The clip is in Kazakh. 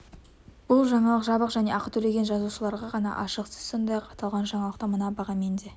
бұл жаңалық жабық және ақы төлеген жазылушыларға ғана ашық сіз сондай-ақ аталған жаңалықты мына бағамен де